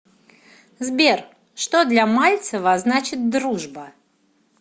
сбер что для мальцева значит дружба